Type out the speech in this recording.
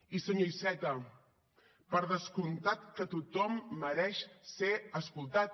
i senyor iceta per descomptat que tothom mereix ser escoltat